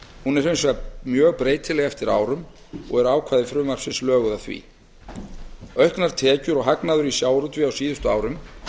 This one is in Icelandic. hún er hins vegar mjög breytileg eftir árum og eru ákvæði frumvarpsins löguð að því auknar tekjur og hagnaður í sjávarútvegi á síðustu árum